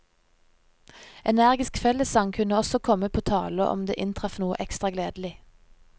Energisk fellessang kunne også komme på tale om det inntraff noe ekstra gledelig.